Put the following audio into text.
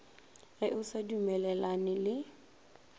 ge o sa dumellane le